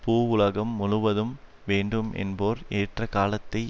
பூவுலகம் முழுவதும் வேண்டும் என்போர் ஏற்ற காலத்தை